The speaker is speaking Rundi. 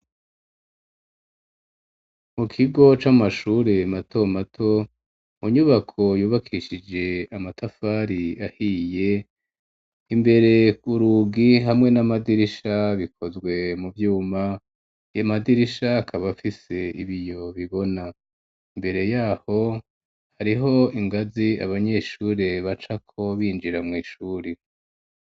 Mu kigo c'amashure mato mato, mu nyubako yubakishije amatafari ahiye, imbere urugi hamwe n'amadirisha bikozwe mu vyuma, ayo madirisha akaba afise ibiyo bibona; imbere y'aho, hariho ingazi abanyeshure bacako binjira mw'ishuri.